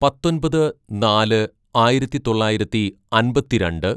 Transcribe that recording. "പത്തൊമ്പത് നാല് ആയിരത്തിതൊള്ളായിരത്തി അമ്പത്തിരണ്ട്‌